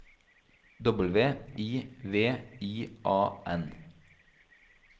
W I V I A N